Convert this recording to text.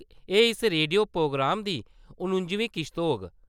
एह् इस radio programme दी नुजमीं किश्त होग।